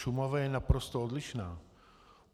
Šumava je naprosto odlišná.